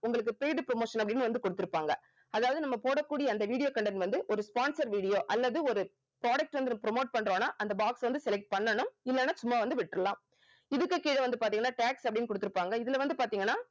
உங்களுக்கு paid promotion அப்படின்னு வந்து குடுத்திருப்பாங்க அதாவது நம்ம போடக்கூடிய அந்த video content வந்து ஒரு sponsor video அல்லது ஒரு product வந்து promote பண்றோம்னா அந்த box வந்து select பண்ணனும் இல்லனா சும்மா வந்து விட்டுடலாம் இதுக்கு கீழ வந்து பார்த்தீங்கன்னா tax அப்படின்னு குடுத்திருப்பாங்க இதுல வந்து பார்த்தீங்கன்னா